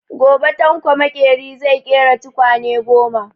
Gobe Tanko makeri zai ƙera tukwane goma.